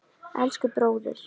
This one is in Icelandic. Elsku bróðir.